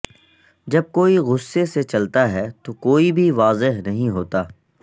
جب کوئی غصے سے چلتا ہے تو کوئی بھی واضح نہیں ہوتا